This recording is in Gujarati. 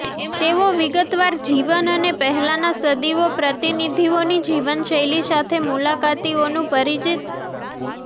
તેઓ વિગતવાર જીવન અને પહેલાનાં સદીઓ પ્રતિનિધિઓની જીવનશૈલી સાથે મુલાકાતીઓનું પરિચિત